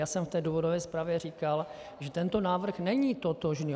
Já jsem v té důvodové zprávě říkal, že tento návrh není totožný.